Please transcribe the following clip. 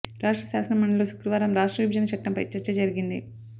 రాష్ట్ర శాసన మండలిలో శుక్రవారం రాష్ట్ర విభజన చట్టంపై చర్చ జరిగింది